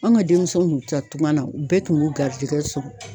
An ka denmisɛnw tun te taa tunga na ,u bɛɛ tun b'u garijigɛ sɔrɔ.